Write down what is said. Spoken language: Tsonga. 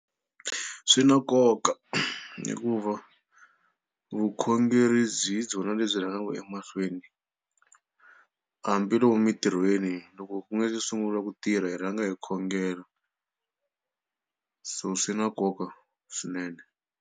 Swi na nkoka hikuva vukhongeri byi hi byona lebyi rhangaka emahlweni hambi lomu emitirhweni loko ku nga se sungula ku tirha hi rhanga hi khongela so swi na nkoka swinene.